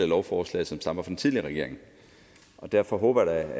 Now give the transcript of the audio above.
lovforslag som stammer fra den tidligere regering og derfor håber